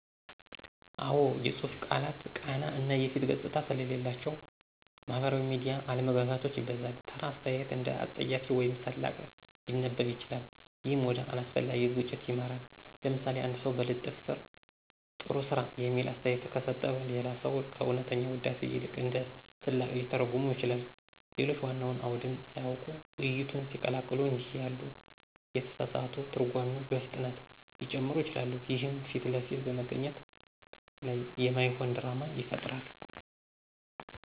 አዎ፣ የጽሁፍ ቃላት ቃና እና የፊት ገጽታ ስለሌላቸው ማህበራዊ ሚዲያ አለመግባባቶችን ያበዛል። ተራ አስተያየት እንደ አፀያፊ ወይም ስላቅ ሊነበብ ይችላል፣ ይህም ወደ አላስፈላጊ ግጭት ይመራል። ለምሳሌ፣ አንድ ሰው በልጥፍ ስር “ጥሩ ስራ” የሚል አስተያየት ከሰጠ፣ ሌላ ሰው ከእውነተኛ ውዳሴ ይልቅ እንደ ስላቅ ሊተረጉመው ይችላል። ሌሎች ዋናውን አውድን ሳያውቁ ውይይቱን ሲቀላቀሉ እንዲህ ያሉ የተሳሳቱ ትርጓሜዎች በፍጥነት ሊጨምሩ ይችላሉ፣ ይህም ፊት ለፊት በመገናኘት ላይ የማይሆን ድራማ ይፈጥራል።